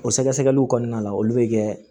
O sɛgɛsɛgɛliw kɔnɔna la olu be kɛ